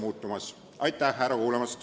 Aitäh ärakuulamise eest!